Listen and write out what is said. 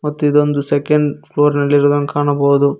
ಮತ್ತ್ ಇದೊಂದು second floor ನಲ್ಲಿ ಇರುದಂಗ ಕಾಣಬಹುದು.